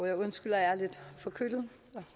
jeg undskylder at jeg er lidt forkølet